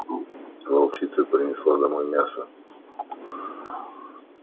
волчица принесла домой мясо